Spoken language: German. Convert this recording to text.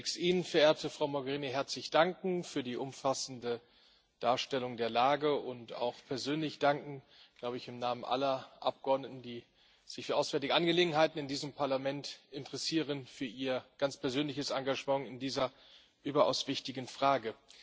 Ich möchte zunächst Ihnen, verehrte Frau Mogherini, herzlich danken für die umfassende Darstellung der Lage und auch persönlich danken ich glaube im Namen aller Abgeordneten, die sich für auswärtige Angelegenheiten in diesem Parlament interessieren für Ihr ganz persönliches Engagement in dieser überaus wichtigen Frage.